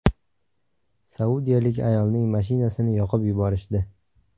Saudiyalik ayolning mashinasini yoqib yuborishdi .